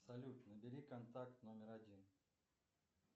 салют набери контакт номер один